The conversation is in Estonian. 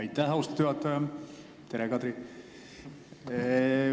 Aitäh, austatud juhataja!